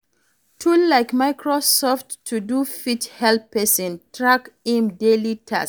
Tool like Microsoft To Do fit help person track im daily tasks